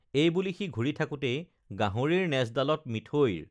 এইবুলি সি ঘূৰি থাকোতেই গাহৰিৰ নেজডালত মিঠৈৰ